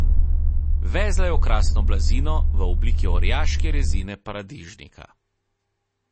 Vezla je okrasno blazino, v obliki orjaške rezine paradižnika.